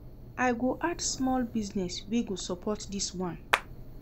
I go add small business wey go support dis one.